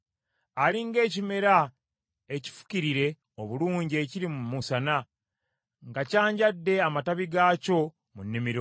Ali ng’ekimera ekifukirire obulungi ekiri mu musana, nga kyanjadde amatabi gaakyo mu nnimiro;